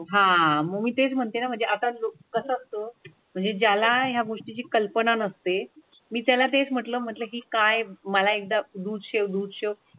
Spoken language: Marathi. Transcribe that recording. आह मग मी तेच म्हणते म्हणजे आता कसं असतं म्हणजे ज्याला या गोष्टीची कल्पना नसते मी त्याला तेच म्हटलं की काय मला एकदा दूध शेव दूध शेव